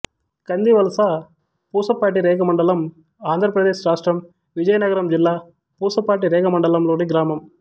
కందివలస పూసపాటిరేగ మండలం ఆంధ్ర ప్రదేశ్ రాష్ట్రం విజయనగరం జిల్లా పూసపాటిరేగ మండలం లోని గ్రామం